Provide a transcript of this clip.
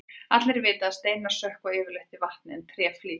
allir vita að steinar sökkva yfirleitt í vatni en tré flýtur